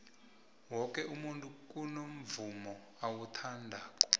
woke umntu kunamvumo awuthandako